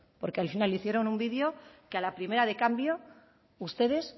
porque al final hicieron un vídeo que a la primera de cambio ustedes